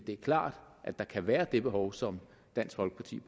er klart at der kan være det behov som dansk folkeparti